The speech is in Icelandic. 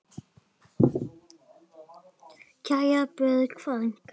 Kæra Björg frænka.